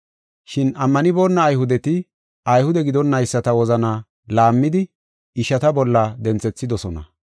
Shin ammanibona Ayhudeti, Ayhude gidonnayisata wozanaa laammidi ishata bolla denthethidosona.